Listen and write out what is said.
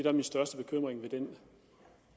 er min største bekymring ved den